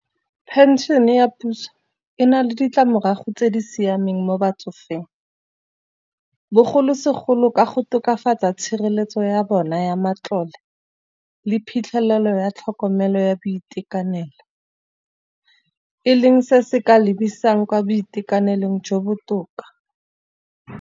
Pension-e ya puso e na le ditlamorago tse di siameng mo batsofeng. Bogolosegolo ka go tokafatsa tshireletso ya bona ya matlole, le phitlhelelo ya tlhokomelo ya boitekanelo. E leng se se ka lebisang kwa boitekanelong jo botoka.